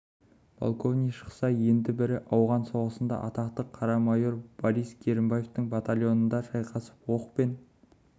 полковник шықса енді бірі ауған соғысында атақты қара майор борис керімбаевтың батальонында шайқасып оқ пен